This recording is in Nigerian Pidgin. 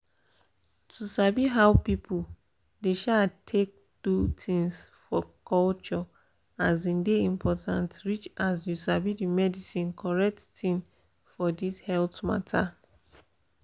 to sabi how people dey um take do things for their culture um dey important reach as you sabi the medicine correct thing for this health mata